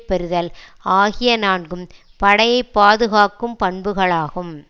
பெறுதல் ஆகிய நான்கும் படையைப் பாதுகாக்கும் பண்புகளாகும்